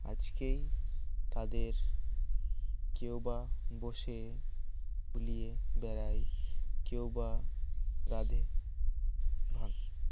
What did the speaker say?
আজকেই তাদের কেউবা বসে বেড়াই কেউবা রাধে ভা